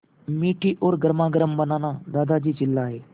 मीठी और गर्मागर्म बनाना दादाजी चिल्लाए